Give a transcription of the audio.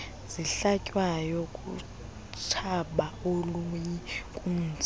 zihlatywayo lutshaba oluyinkunzi